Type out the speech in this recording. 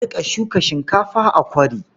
A riƙa shuka shinkafa a kwari.